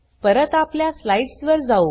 परत आपल्या स्लाइड्स वर जाऊ